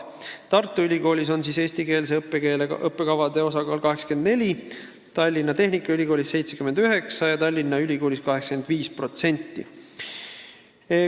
Tartu Ülikoolis on eestikeelsete õppekavade osakaal 84%, Tallinna Tehnikaülikoolis 79% ja Tallinna Ülikoolis 85%.